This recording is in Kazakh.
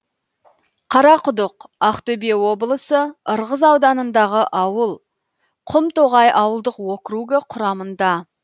қарақұдық ақтөбе облысы ырғыз ауданыдағы ауыл құмтоғай ауылдық округі құрамында